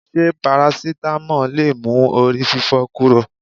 Ṣé parasitamọ́ọ̀ lè mú orí fífọ́ kúrò?